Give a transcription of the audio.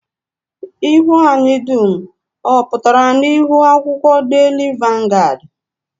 Ihu anyị dum ọ pụtara n'ihu akwụkwọ daily vanguard?